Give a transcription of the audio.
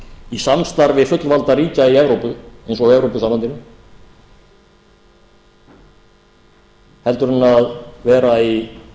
í samstarfi fullvalda ríkja í evrópu eins og í evrópusambandinu heldur en að vera í